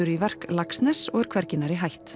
í verk Laxness og er hvergi nærri hætt